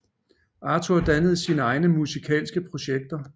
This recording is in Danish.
Arthur dannede sine egne musikalske projekter